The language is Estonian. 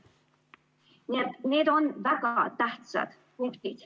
Nii et need on väga tähtsad punktid.